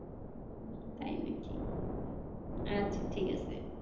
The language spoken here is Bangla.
তাই নাকি আচ্ছা ঠিক আছে